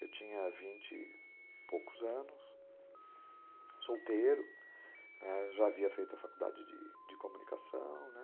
Eu tinha vinte e poucos anos, solteiro, né, já havia feito a faculdade de de comunicação, né?